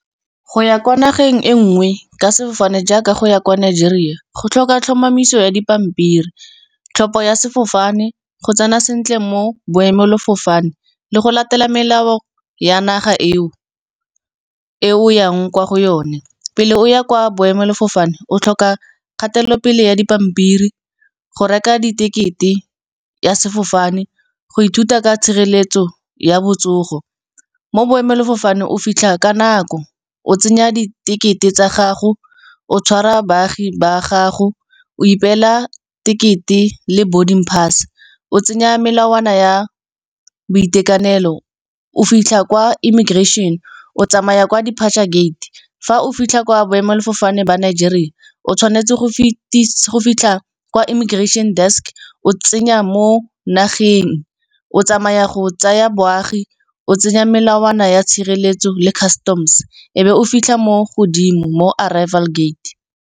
Go ya kwa nageng e nngwe ka sefofane jaaka go ya kwa Nigeria go tlhoka tlhomamiso ya dipampiri. Tlhopho ya sefofane go tsena sentle mo boemelafofane le go latela melao ya naga e o, e o o yang kwa go yone. Pele o ya kwa boemelafofane o tlhoka kgatelelopele ya dipampiri, go reka di tekete ya sefofane, go ithuta ka tshireletso ya botsogo, mo boemelafofane o fitlha ka nako, o tsenya di-ticket-e tsa gago, o tshwara baagi ba gago, o ipela ticket-e le boarding pass. O tsenya melawana ya boitekanelo, o fitlha kwa immigration, o tsamaya kwa depature gate. Fa o fitlha kwa boemelafofane ba Nigeria o tshwanetse go fitlha kwa immigration desk, o tsenya mo nageng, o tsamaya go tsaya boagi, o tsenya melawana ya tshireletso le customs, e be o fitlha mo godimo mo arrival gate.